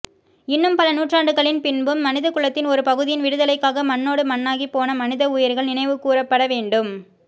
இன்னும் பல நூற்றாண்டுகளின் பின்பும் மனிதகுலத்தின் ஒரு பகுதியின் விடுதலைக்காக மண்ணோடு மண்ணாகிப் போன மனித உயிர்கள் நினைவுகூரப்பட வேண்டும்